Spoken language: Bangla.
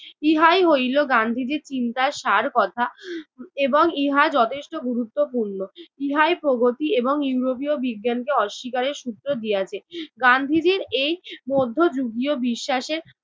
ইহাই হইল গান্ধীজির চিন্তার সারকথা এবং ইহা যথেষ্ট গুরুত্বপূর্ণ। ইহাই প্রগতি এবং ইউরোপীয় বিজ্ঞানকে অস্বীকারের সূত্র দিয়াছে। গান্ধীজির এই মধ্যযুগীয় বিশ্বাসে